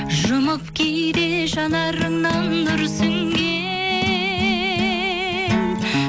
жұмып кейде жанарыңнан нұр сіңген